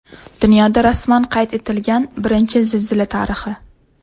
Dunyoda rasman qayd etilgan birinchi zilzila tarixi.